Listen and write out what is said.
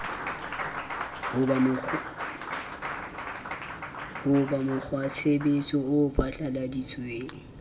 ho ba mokgwatshebetso o phatlalladitsweng